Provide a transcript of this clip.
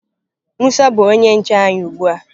musa bu onye nche anyi ugbua.